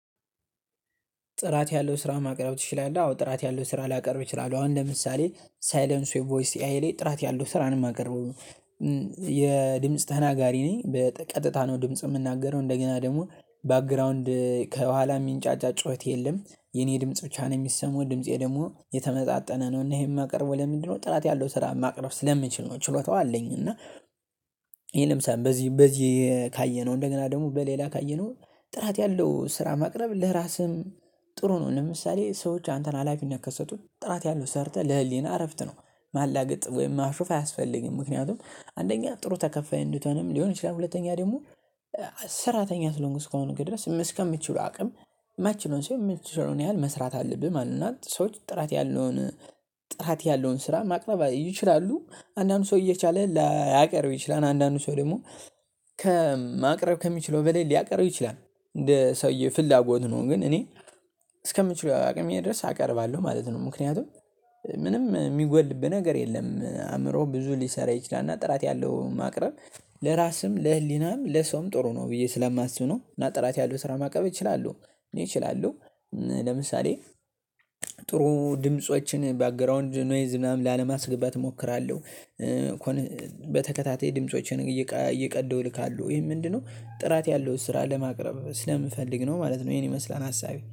ጥራት ያለው ስራ ማቅረብ ትችላለህ? አዎ ጥራት ያለው ስራ ላቀርብ እችላለሁ። አሁን ለምሳሌ ሳይለንሱ የቮይስ ኤአይሌ ጥራት ያለው ስራን የማቀርበው። የድምጽ ተናጋሪ ነኝ በቀጥታ ነው ድምጽ የምናገረው እንደገና ደግሞ ባክግራውንድ ከኋላ የሚንጫጫ ጩኸት የለም የኔ ድምጽ ብቻ ነው የሚሰማው ድምፄ ደግሞ የተመጣጠነ ነው። እና ይሄን የማቀርበው ለምንድነው ጥራት ያለው ስራ ማቅረብ ስለምችል ነው። ችሎታው አለኝ እና። ለምሳሌ በዚህ በዚህ ካየነው እንደገና ደግሞ በሌላ ካየነው። ጥራት ያለው ስራ ማቅረብ ለራስህም ጥሩ ነው። ለምሳሌ ሰዎች አንተን ሀላፊነት ከሰጡት ጥራት ያለው ሰርተህ ለህሊና እረፍት ነው። ማላገጥ ወይም ማሾፍ አያስፈልግም። ምክንያቱም አንደኛ ጥሩ ተከፋይ እንድትሆንም ሊሆን ይችላል። ሁለተኛ ደግሞ። ስራተኛ ስለሆንክ እስከሆነ ድረስ እስከምትችሉ አቅም የማትችለውን ሳይሆን የምትችለውን ያህል መስራት አለብህ ማለት ነው። እና ሰዎች ጥራት ያለውን ጥራት ያለውን ስራ ማቅረብ ይችላሉ። አንዳንድ ሰው እየቻለ ላያቀርብ ይችላል። አንዳንድ ሰው ደግሞ ከማቅረብ ከሚችለው በላይ ሊያቀርብ ይችላል። እንደ ሰውዬ ፍላጎት ነው። ግን እኔ እስከምችለው አቅምዬ ድረስ አቀርባለሁ ማለት ነው። ምክንያቱም ምንም የሚጎልብህ ነገር የለም። አእምሮ ብዙ ሊሰራ ይችላል። እና ጥራት ያለው ማቅረብ ለራስም ለህሊናም ለሰውም ጥሩ ነው ብዬ ስለማስብ ነው። እና ጥራት ያለው ስራ ማቅረብ እችላለሁ እኔ እችላለሁ። ለምሳሌ ጥሩ ድምፆችን ባክግራውንድ ኖይዝ ምናምን ላለማስገባት እሞክራለሁ። እኮ። በተከታታይ ድምፆችን እየቀደው እልካለው ይሄ ምንድነው ጥራት ያለው ስራ ለማቅረብ ስለምፈልግ ነው ማለት ነው። ይሄን ይመስላል አሳቢ